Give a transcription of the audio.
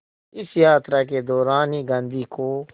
इस यात्रा के दौरान ही गांधी को